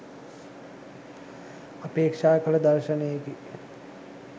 අපේක්‍ෂා කළ දර්ශනයකි.